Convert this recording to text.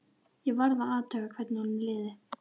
Ég varð að athuga hvernig honum liði.